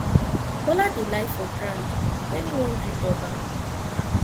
bola dey lie for ground wen he wan greet oba